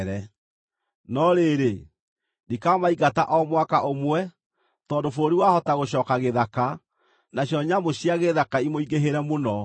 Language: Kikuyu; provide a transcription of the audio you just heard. No rĩrĩ, ndikamaingata o mwaka ũmwe, tondũ bũrũri wahota gũcooka gĩthaka, nacio nyamũ cia gĩthaka imũingĩhĩre mũno.